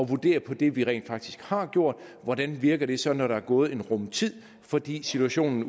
vurdere på det vi rent faktisk har gjort hvordan virker det så når der er gået en rum tid fordi situationen